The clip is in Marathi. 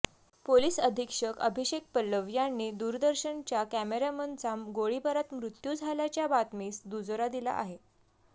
पोलीस अधीक्षक अभिषेक पल्लव यांनी दूरदर्शनच्या कॅमेरामनचा गोळीबारात मृत्यू झाल्याच्या बातमीस दुजोरा दिला आहे